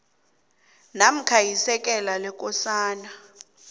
namkha isekela lekosana